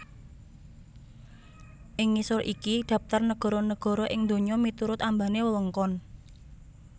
Ing ngisor iki dhaptar nagara nagara ing donya miturut ambané wewengkon